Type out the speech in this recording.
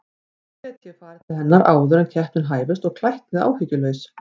Svo gæti ég farið til hennar áður en keppnin hæfist og klætt mig áhyggjulaus.